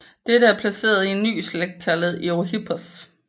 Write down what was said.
Dette blev placeret i en ny slægt kaldet Eohippos